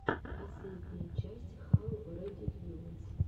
последняя часть хау редикьюлэс